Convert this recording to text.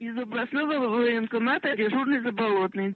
из областного военкомата дежурный заболотный